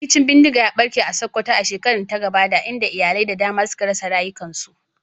Rikicin bindiga ya barke a Sokoto a shekarar da ta gabata, inda iyalai da dama suka rasa rayukansu.